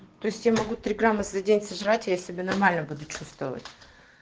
то есть я могу три грамма за день сожрать я себе нормально будет чувствовать